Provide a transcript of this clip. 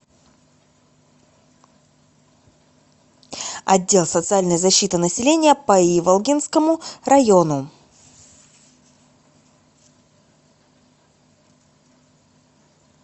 отдел социальной защиты населения по иволгинскому району